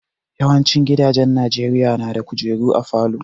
Yawancin gidajen Najeriya na da kujeru a falo